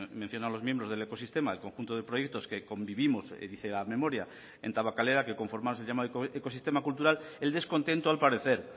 mencionado los miembros del ecosistema el conjunto de proyectos que convivimos dice la memoria en tabakalera que conformar se llama ecosistema cultural el descontento al parecer